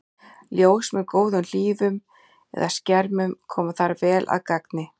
Ljós með góðum hlífum eða skermum koma þar vel að gagni.